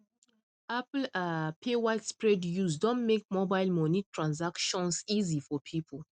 apple um pay widespread use don make mobile money transactions easy for people